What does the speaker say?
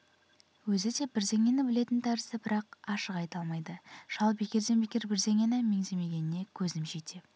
өзі де бірдеңені білетін тәрізді бірақ ашық айта алмайды шал бекерден бекер бірдеңені меңземегеніне көзім жете